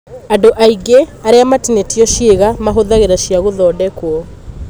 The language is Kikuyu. Andũ aingĩ arĩa matinĩtio ciĩga mahũthagĩra cia gũthondekwo.